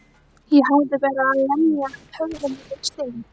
Ég hafði verið að lemja höfðinu við stein.